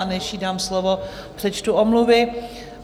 A než jí dám slovo, přečtu omluvy.